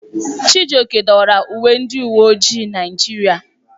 Chijioke dọwara uwe ndị uwe ojii Naịjirịa.